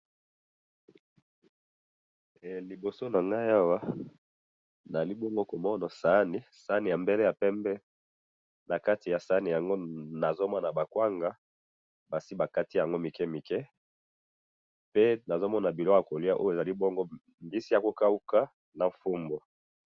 Liboso na ngayi Awa, naali bongo komono saani, saani ya mbele ya pembe. Na kati ya saani yango nazomona ba kwanga, basi nakati yango mike mike. Pe nazomona biloko ya kolia Oyo ezali bongo mbisi ya kokauka na fumbwa.